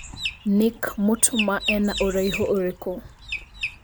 Nick Mutuma ena ũraĩhu ũrĩkũ